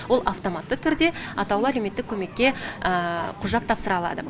ол автоматты түрде атаулы әлеуметтік көмекке құжат тапсыра алады